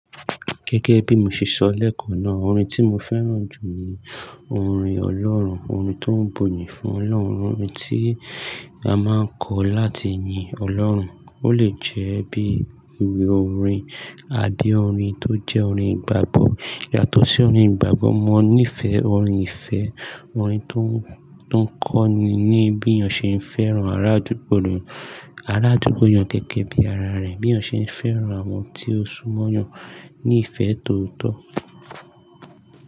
Gẹ́gẹ́ bí mo ṣe sọ lẹ́ẹ̀kan náà, orin tí mo fẹ́ràn jù ni orin ọlọ́run, orin tó ń buyì fún Ọlọ́run, orin tí a máa ń kọ láti yin Ọlọ́run. Ó lè jẹ́ bí i ìwé orin àbí orin tó jẹ́ orin ìgbàgbọ́. Yàtọ̀ sí orin ìgbàgbọ́, mo nífẹ̀ẹ́ orin ìfẹ́, orin tó, tó ń kọ́ni ní bí èèyàn ṣe ń fẹ́ràn arádúgbò rẹ̀, arádúgbò èèyàn gẹ́gẹ́ bí ara rẹ̀, bí èèyàn ṣe ń fẹ́ràn àwọn tí ó súnmọ́ èèyàn ní ìfẹ́ tóótọ́.